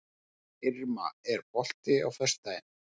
Irma, er bolti á föstudaginn?